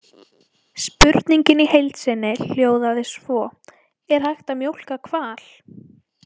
Spurningin í heild sinni hljóðaði svo: Er hægt að mjólka hval?